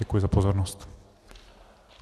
Děkuji za pozornost.